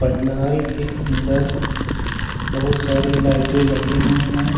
पंडाल के अंदर बहुत सारी लाइटें लगी हुई है।